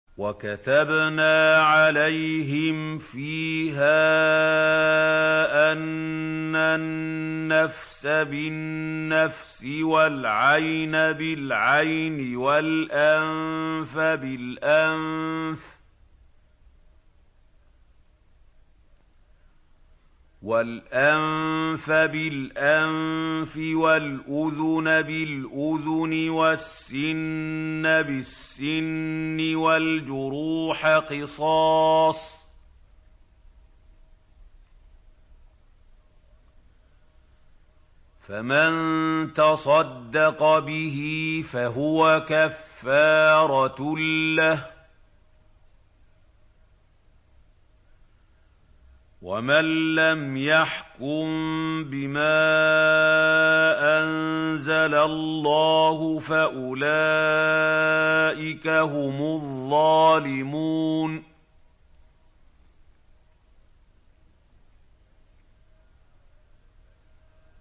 وَكَتَبْنَا عَلَيْهِمْ فِيهَا أَنَّ النَّفْسَ بِالنَّفْسِ وَالْعَيْنَ بِالْعَيْنِ وَالْأَنفَ بِالْأَنفِ وَالْأُذُنَ بِالْأُذُنِ وَالسِّنَّ بِالسِّنِّ وَالْجُرُوحَ قِصَاصٌ ۚ فَمَن تَصَدَّقَ بِهِ فَهُوَ كَفَّارَةٌ لَّهُ ۚ وَمَن لَّمْ يَحْكُم بِمَا أَنزَلَ اللَّهُ فَأُولَٰئِكَ هُمُ الظَّالِمُونَ